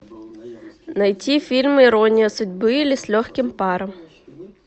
найти фильм ирония судьбы или с легким паром